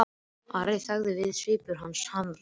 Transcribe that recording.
Ari þagði við og svipur hans harðnaði.